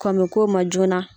Kɔn bɛ k'o ma joona.